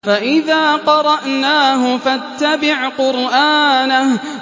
فَإِذَا قَرَأْنَاهُ فَاتَّبِعْ قُرْآنَهُ